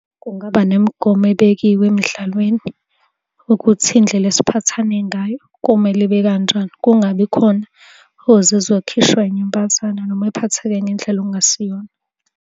Kungaba nemigomo ebekiwe emidlalweni ukuthi indlela esiphathane ngayo komele ibe kanjalo, kungabi khona ozizwa ekhishwa inyumbazane noma ephatheke ngendlela ekungasiyona.